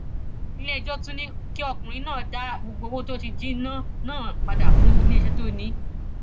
iléẹjọ tún ní kí ọkùnrin náà dá gbogbo owó tó jí náà náà padà fún iléeṣẹ tó ní í